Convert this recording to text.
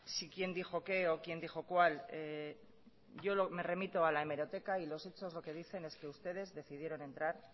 si quién dijo qué o quién dijo cuál yo me remito a la hemeroteca y los hechos lo que dicen es que ustedes decidieron entrar